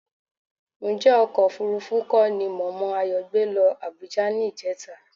Ǹjẹ́ ọkọ̀ òfuurufú kọ́ ni mọ̀mọ́ Ayọ̀ gbé lọ Àbújá ní ìjẹta?